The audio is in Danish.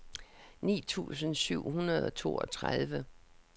ni tusind syv hundrede og toogtredive